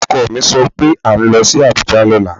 Ọkọ mi sọ pé à ń lọ sí Abuja lọ́la